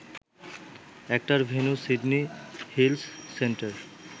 একটার venue Sydney Hills centre